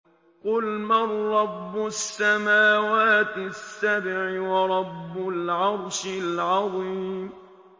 قُلْ مَن رَّبُّ السَّمَاوَاتِ السَّبْعِ وَرَبُّ الْعَرْشِ الْعَظِيمِ